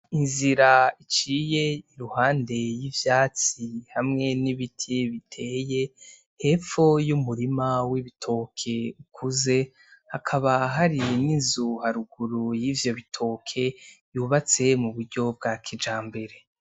Inzira iciye iruhande y'ivyatsi hamwe n'ibiti biteye hepfo y'umurima w'ibitoke bikuze hakaba hari n'inzu haruguru y'ivyo bitoke y'ubatse m'uburyo bwa kijambere.